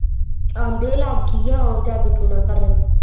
ਆਂਦੇ ਹੀ ਲੱਗ ਗਈ ਉਹ ਜਾਦੂ ਟੂਣਾ ਕਰਨ।